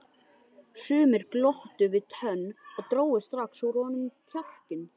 Sumir glottu við tönn og drógu strax úr honum kjarkinn.